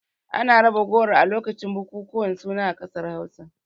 Ana raba goro a lokacin bukukuwan suna a ƙasar Hausa.